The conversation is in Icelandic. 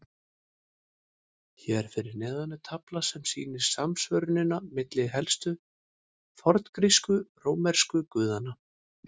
Hér fyrir neðan er tafla sem sýnir samsvörunina milli helstu forngrísku og rómversku guðanna.